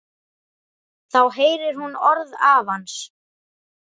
Þá heyrir hún orð afans.